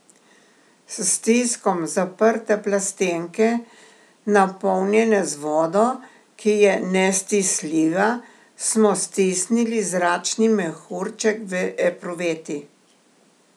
S stiskom zaprte plastenke, napolnjene z vodo, ki je nestisljiva, smo stisnili zračni mehurček v epruveti.